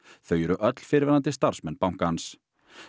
þau eru öll fyrrverandi starfsmenn bankans